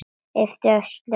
Yppti öxlum.